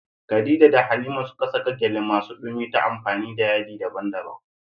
Khadija da Halima suka saƙa gyale masu ɗumi ta amfani da yadi daban-daban.